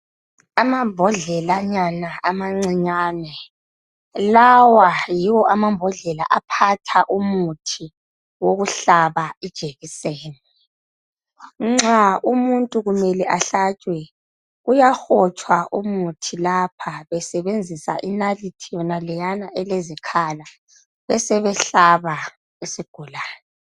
Amambodlelanyana amancinyane lawa yiwo amambodlela aphatha umuthi wokuhlaba ijekiseni nxa umuntu kumele ahlatshwe kuyahotshwa umuthi lapha besebenzisa inalithi naleyana elezikhala besebehlaba isigulane.